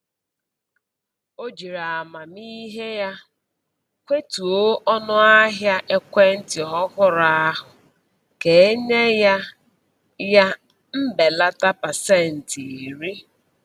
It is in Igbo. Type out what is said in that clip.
O jiri amamihe ya kwetuo onu ahia ekwentị ọhụrụ ahụ ka e nye ya ya mbelata pasentị iri